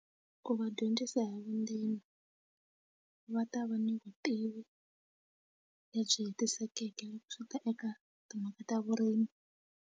Ku va dyondzisa hi vundzeni va ta va ni vutivi lebyi hetisekeke loko swi ta eka timhaka ta vurimi.